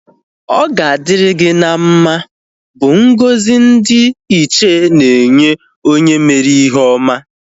Ọ ga adịrị gị mma bụ ngọzi ndị ntorobịa na-enye onye ndị mere ihe oma